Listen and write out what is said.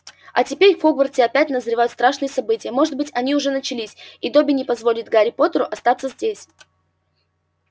а теперь в хогвартсе опять назревают страшные события может быть они уже начались и добби не позволит гарри поттеру остаться здесь